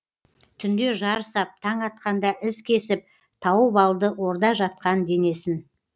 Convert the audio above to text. түнде жар сап таң атқанда із кесіп тауып алды орда жатқан денесін